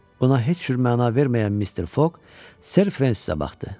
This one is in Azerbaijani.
Buna heç cür məna verməyən Mister Foq Ser Frensə baxdı.